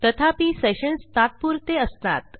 तथापि सेशन्स तात्पुरते असतात